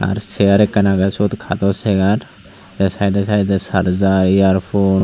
ar seyar ekkan agey syot kadot seyar tey saidey saidey sargar yarpone .